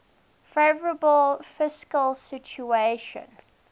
favourable fiscal situation